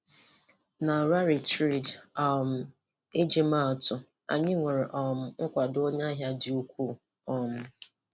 Na Rally Trade um iji maa atụ, anyị nwere um nkwàdọ onye ahịa dị ukwuu. um